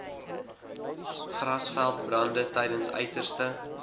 grasveldbrande tydens uiterste